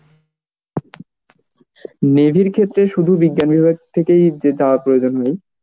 navy র ক্ষেত্রে সুধু বিজ্ঞানির থেকে য~ যাওয়ার প্রয়োজন হয়